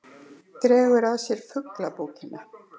Dregur að sér fuglabókina.